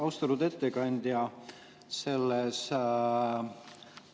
Austatud ettekandja!